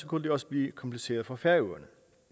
kunne det også blive kompliceret for færøerne